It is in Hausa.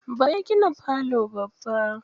Baba ya gina falo babba.